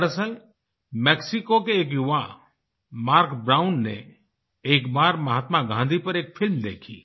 दरअसल मेक्सिको के एक युवा मार्क ब्राउन ने एक बार महात्मा गाँधी पर एक फिल्म देखी